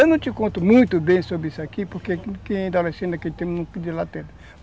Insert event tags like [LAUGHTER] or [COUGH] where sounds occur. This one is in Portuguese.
Eu não te conto muito bem sobre isso aqui, porque quem é adolescente, aquele tempo, não [UNINTELLIGIBLE]